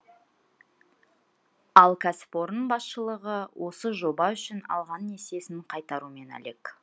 ал кәсіпорын басшылығы осы жоба үшін алған несиесін қайтарумен әлек